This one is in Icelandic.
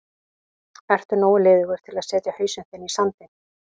Ertu nógu liðugur til að setja hausinn þinn í sandinn?